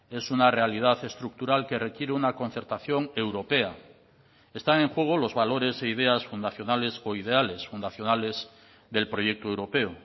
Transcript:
es una realidad estructural que requiere una concertación europea están en juego los valores e ideas fundacionales o ideales fundacionales del proyecto europeo